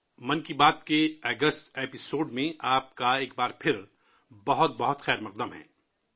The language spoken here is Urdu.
من کی بات کے اگست کے ایپی سوڈ میں ایک بار پھر آپ کا دِلی خیر مقدم ہے